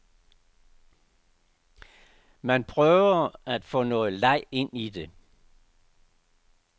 Man prøver at få noget leg ind i det.